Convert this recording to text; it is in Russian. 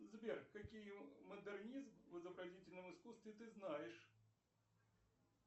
сбер какие модернизм в изобразительном искусстве ты знаешь